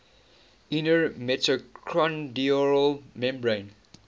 inner mitochondrial membrane